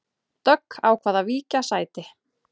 Dögg ákvað að víkja sæti